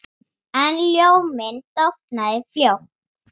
En ljóminn dofnaði fljótt.